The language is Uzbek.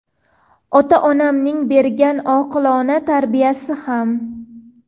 Ota-onamning bergan oqilona tarbiyasi ham.